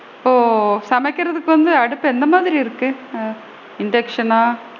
ஓ! சமைக்கிறதுக்கு வந்து அடுப்பு என்ன மாதிரி இருக்கு? ஆ induction னா?